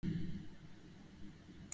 Gísli Óskarsson: Hvað með fólk?